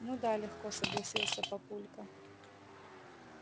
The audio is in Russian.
ну да легко согласился папулька